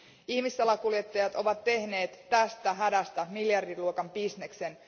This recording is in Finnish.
Ihmissalakuljettajat ovat tehneet tästä hädästä miljardiluokan bisneksen.